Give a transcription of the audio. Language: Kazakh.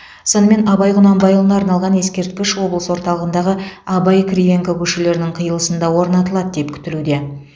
сонымен абай құнанбайұлына арналған ескерткіш облыс орталығындағы абай кривенко көшелерінің қиылысында орнатылады деп күтілуде